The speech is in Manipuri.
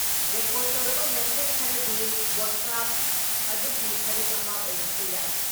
ꯔꯦꯀꯣꯔꯠ ꯇꯧꯔꯕ ꯃꯦꯁꯦꯁ ꯈꯔꯗꯤ ꯕ꯭ꯔꯣꯗꯀꯥꯁ ꯑꯗꯨꯒꯤ ꯁꯔꯨꯛ ꯑꯃ ꯑꯣꯏꯔꯛꯄ ꯌꯥꯏ ꯫